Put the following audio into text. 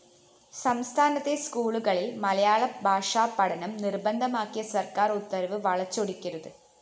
സംസ്ഥാനത്തെ സ്‌കൂളുകളില്‍ മലയാള ഭാഷാപഠനം നിര്‍ബന്ധമാക്കിയ സര്‍ക്കാര്‍ ഉത്തരവ് വളച്ചൊടിക്കരുത്